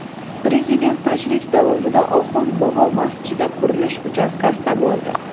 Prezident tashrif davomida Oxund bobo masjidi qurilish uchastkasida bo‘ldi.